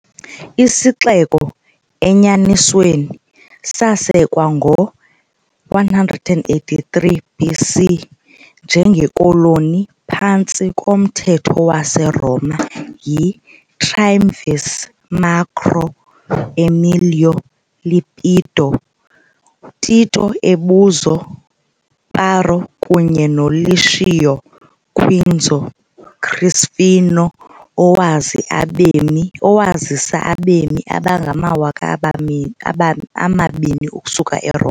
Isixeko, enyanisweni, sasekwa ngo -183 BC, njengekoloni phantsi komthetho waseRoma, yi-triumvirs Marco Emilio Lepido, Tito Ebuzio Parro kunye noLucio Quinzio Crispino owazisa abemi abangamawaka abami amabini ukusuka eRoma.